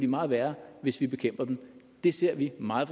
meget værre hvis vi bekæmper dem det ser vi meget